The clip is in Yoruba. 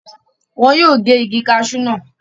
wọn yóò gé Igi kasú náà